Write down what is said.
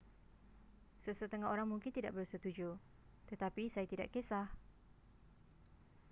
sesetengah orang mungkin tidak bersetuju tetapi saya tidak kisah